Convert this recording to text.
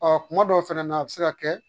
Ɔ kuma dɔw fɛnɛ na a bɛ se ka kɛ